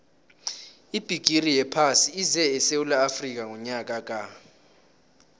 ibhigiri yephasi ize esewula afrika ngonyaka ka